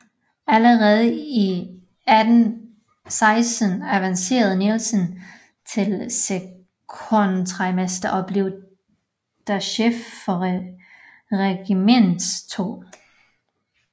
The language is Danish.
Allerede 1816 avancerede Nielsen til sekondritmester og blev da chef for regimentets 2